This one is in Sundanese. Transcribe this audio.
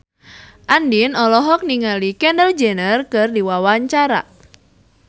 Andien olohok ningali Kendall Jenner keur diwawancara